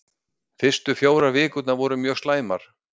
Fyrstu fjórar vikurnar voru mjög slæmar.